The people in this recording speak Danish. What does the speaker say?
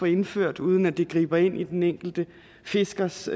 indføres uden at det griber ind i den enkelte fiskers